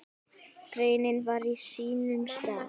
Greinin var á sínum stað.